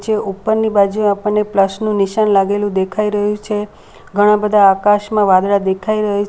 એ ઉપરની બાજુ આપણને પ્લસ નું નિશાન લાગેલું દેખાય રહ્યું છે ઘણા બધા આકાશમાં વાદળા દેખાય રહે છ --